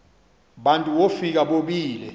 bantu wofika bobile